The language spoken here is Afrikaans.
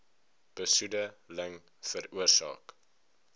besoede ling veroorsaak